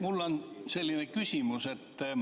Mul on selline küsimus.